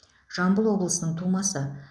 жамбыл облысының тумасы